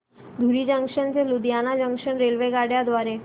धुरी junction ते Ludhiana junction रेल्वेगाड्यां द्वारे